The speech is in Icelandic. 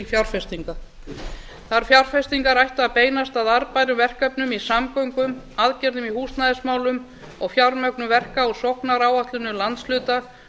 fjárfestinga þær fjárfestingar ættu að beinast í arðbærum verkefnum í samgöngum aðgerðum í húsnæðismálum og fjármögnun verka og sóknaráætlanir landshluta